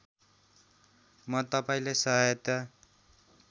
म तपाईँलाई सहायता